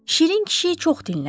Şirin kişi çox dinlədi.